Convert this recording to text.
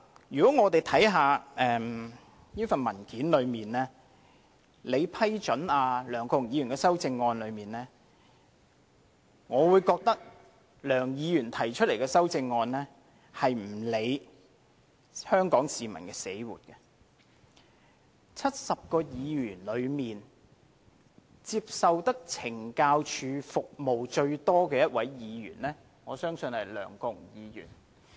讓我們看看這份文件，即在你批准梁國雄議員的修正案中，我認為梁議員提出的修正案並沒有理會香港市民死活，在70位議員中，接受懲教署服務最多的一位議員，我相信是梁國雄議員。